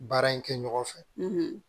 Baara in kɛ ɲɔgɔn fɛ